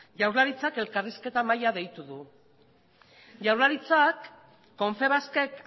jaurlaritzak elkarrizketa mahaia deitu du jaurlaritzak confebaskek